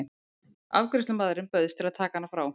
Afgreiðslumaðurinn bauðst til að taka hana frá.